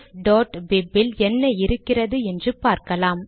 refபிப் இல் என்ன இருக்கிறது என்று பார்க்கலாம்